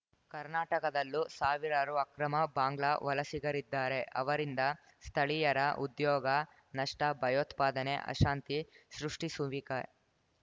ಕರ್ನಾಟಕದಲ್ಲೂ ಸಾವಿರಾರು ಅಕ್ರಮ ಬಾಂಗ್ಲಾ ವಲಸಿಗರಿದ್ದಾರೆ ಅವರಿಂದ ಸ್ಥಳೀಯರ ಉದ್ಯೋಗ ನಷ್ಟ ಭಯೋತ್ಪಾದನೆ ಅಶಾಂತಿ ಸೃಷ್ಟಿಸುವಿಕ